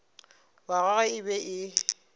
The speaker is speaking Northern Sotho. wa gagwe e be e